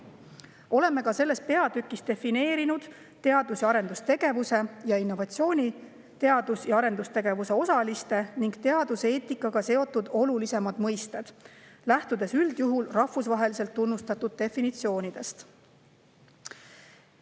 Oleme selles peatükis defineerinud teadus‑ ja arendustegevuse ning innovatsiooni, samuti olulisimad teadus‑ ja arendustegevuse osalistega ja teaduseetikaga seotud mõisted, lähtudes üldjuhul rahvusvaheliselt tunnustatud definitsioonidest.